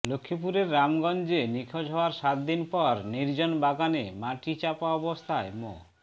লক্ষ্মীপুরের রামগঞ্জে নিখোঁজ হওয়ার সাত দিন পর নির্জন বাগানে মাটিচাপা অবস্থায় মো